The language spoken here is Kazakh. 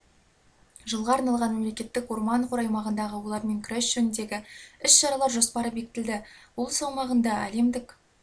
жылға арналған мемлекеттік орман қоры аймағындағы олармен күрес жөніндегі іс-шаралар жоспары бекітілді облыс аумағында әлемдік